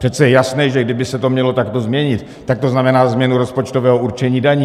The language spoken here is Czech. Přece je jasné, že kdyby se to mělo takto změnit, tak to znamená změnu rozpočtového určení daní.